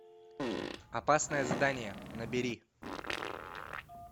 опасное задание набери